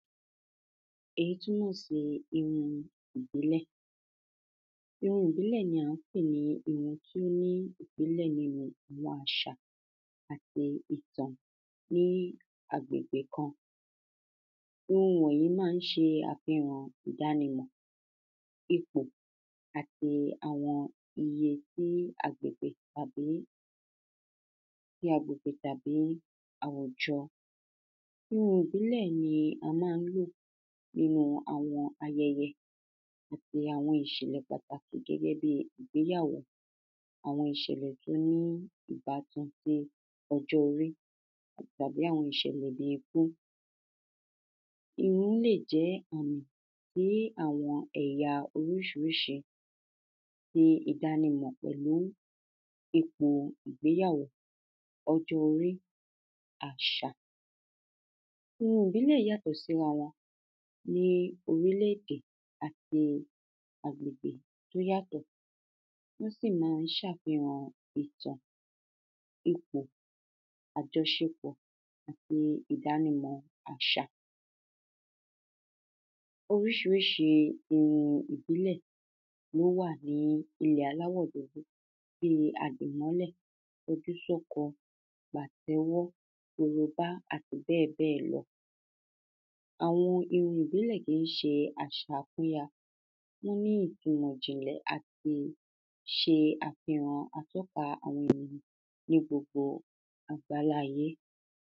èyí túnmọ̀ sí irun ìbílẹ̀. irun ìbílẹ̀ ni a ń pè ní irun tí ó ní ìbílẹ̀ nínu àwọn àṣà àti ìtàn ní agbègbè kan. ohun wọ̀nyí ma ń ṣe àfihàn ìdànimọ̀, ipò, àti àwọn iye tí agbègbè tàbí tí agbègbè tàbí àwùjọ. irun ìbílẹ̀ ni a ma ń lò nínu àwọn ayẹyẹ, àti àwọn ìṣẹ̀lẹ̀ pàtàkì gẹ́gẹ́ bi ìgbéyàwó, àwọn ìṣẹ̀lẹ̀ tó ní ìbátan sí ọjọ́-orí, tàbí àwọn ìṣẹ̀lẹ̀ bí ikú. irún lè jẹ́ àmì sí àwọn ẹ̀ya oríṣiríṣi, ti ìdánimọ̀ pẹ̀lú ipò ìgbéyàwó, ọjọ́-orí, àṣà. irun ìbílẹ̀ yàtọ̀ sírawọn ní orílẹ́-èdè àti àgbègbè tó yàtọ̀, ó sì ma ń ṣàfíhàn ìtàn, ipò, àjọṣepọ̀, àti ìdánimọ̀ àṣà. oríṣiríṣi irun ìbílẹ̀ ló wà ní ilẹ̀ aláwọ̀-dúdú. bíi àdìmọ́lẹ, kọjúsọ́kọ, pàtẹ́wọ́, korobá, àti bẹ́ẹ̀bẹ́ẹ̀lọ. àwọn irun ìbílẹ̀ kìí ṣe àṣà, wọ́n ní ìtunmọ̀ ìjìnlẹ̀ àti ṣe àfihàn atọ́ka àwọn ènìyàn ní gbogbo àgbálá-ayé.